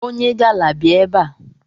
Onye gala bịa ebe a!